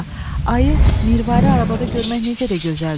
Ayı, mirvari arabada görmək necə də gözəldir!